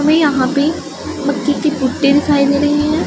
हमें यहां पे मक्के की भुट्टे दिखाई दे रही हैं।